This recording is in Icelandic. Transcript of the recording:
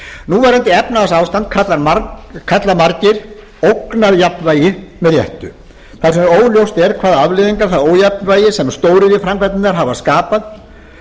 núverandi efnahagsástand kalla margir ógnarjafnvægi með réttu þar sem óljóst er hvaða afleiðingar það ójafnvægi sem stóriðjuframkvæmdirnar hafa skapað